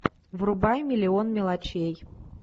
врубай миллион мелочей